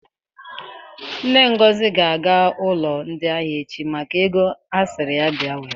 Nne Ngozi ga-aga ụlọ ndị ahịa echi maka ego ha sịrị ya bịa were.